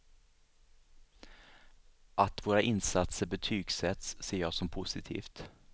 Att våra insatser betygsätts ser jag som positivt.